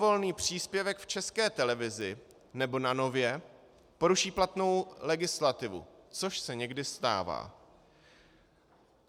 Libovolný příspěvek v České televizi nebo na Nově poruší platnou legislativu, což se někdy stává.